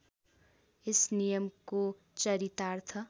यस नियमको चरितार्थ